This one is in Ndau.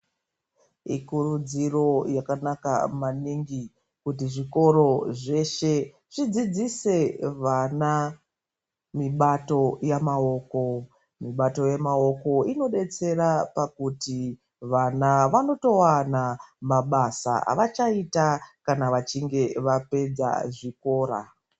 Ikurudziro yakanaka maningi kuti zvikora zveshe zvidzidzise vana mibato yemaoko. Mibato yemaoko inodetsera pakuti vana vanotowana mabasa avachaita kana vachinge vapedza zvikora.